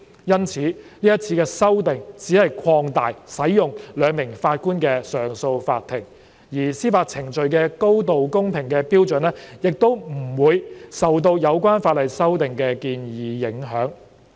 因此，這次修訂只是擴大使用由兩名法官組成的上訴法庭，而司法程序的高度公平的標準亦不會受到有關法例修訂的建議影響。